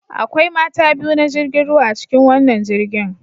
Akwai mata biyu na jirgin ruwa a cikin wannan jirgin